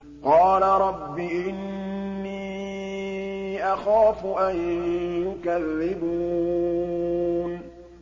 قَالَ رَبِّ إِنِّي أَخَافُ أَن يُكَذِّبُونِ